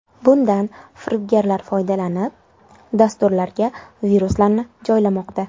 Bundan firibgarlar foydalanib, dasturlarga viruslarni joylamoqda.